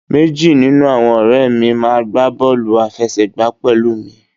Meji ninu awọn ọrẹ mi maa gba bọọlu afẹsẹgba pẹlu mi